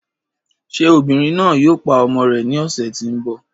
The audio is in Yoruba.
Ṣé obìnrin náà yòò pá ọmọ rè ní ọṣẹ̀ tí n bọ?